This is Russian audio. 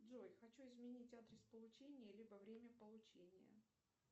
джой хочу изменить адрес получения либо время получения